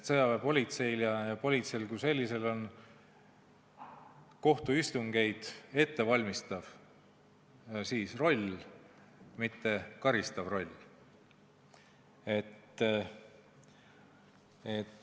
Sõjaväepolitseil ja politseil kui sellisel on kohtuistungeid ette valmistav roll, mitte karistav roll.